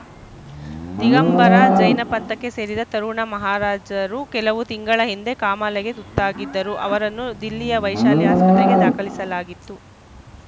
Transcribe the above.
ದಿಗಂಬರ ಜೈನ ಪಂಥಕ್ಕೆ ಸೇರಿದ್ದ ತರುಣ ಮಹಾರಾಜರು ಕೆಲವು ತಿಂಗಳ ಹಿಂದೆ ಕಾಮಾಲೆಗೆ ತುತ್ತಾಗಿದ್ದರು ಅವರನ್ನು ದಿಲ್ಲಿಯ ವೈಶಾಲಿ ಆಸ್ಪತ್ರೆಗೆ ದಾಖಲಿಸಲಾಗಿತ್ತು